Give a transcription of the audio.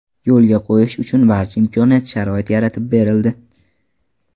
yo‘lga qo‘yishi uchun barcha imkoniyat-sharoit yaratib berildi.